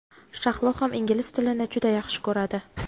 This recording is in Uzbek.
Shahlo ham ingliz tilini juda yaxshi ko‘radi.